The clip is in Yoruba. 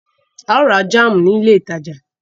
A ó ra jáámù ní ilé ìtajà.